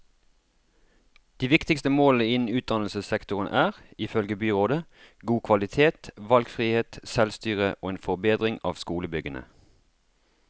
De viktigste målene innen utdannelsessektoren er, ifølge byrådet, god kvalitet, valgfrihet, selvstyre og en forbedring av skolebyggene.